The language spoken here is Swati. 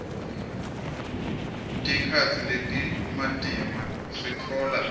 tikhatsi letimatima sitfola